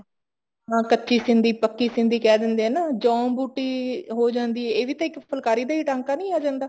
ਹੁਣ ਕੱਚੀ ਸਿੰਧੀ ਪੱਕੀ ਸਿੰਧੀ ਕਹਿ ਦਿੰਦੇ ਆ ਨਾ ਜੋੰ ਬੂਟੀ ਹੋ ਜਾਂਦੀ ਹੈ ਇਕ ਵੀ ਤਾਂ ਇੱਕ ਫੁਲਕਾਰੀ ਦਾ ਹੀ ਟਾਂਕਾ ਨੀ ਆ ਜਾਂਦਾ